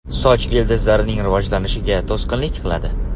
Soch ildizlarining rivojlanishiga to‘sqinlik qiladi.